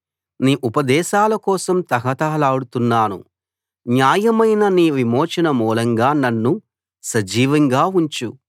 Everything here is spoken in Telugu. నీ ఉపదేశాల కోసం తహతహలాడుతున్నాను న్యాయమైన నీ విమోచన మూలంగా నన్ను సజీవంగా ఉంచు